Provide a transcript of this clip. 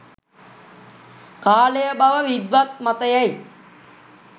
කාලය බව විද්වත් මතයයි.